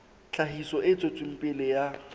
tlhahiso e tswetseng pele ya